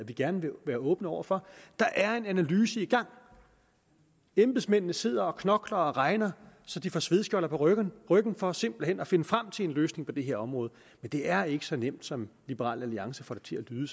vi gerne vil være åbne over for der er en analyse i gang embedsmændene sidder og knokler og regner så de får svedskjolder på ryggen for simpelt hen at finde frem til en løsning på det her område men det er ikke så nemt som liberal alliance får det til at lyde